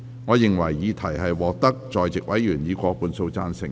我認為議題獲得在席委員以過半數贊成。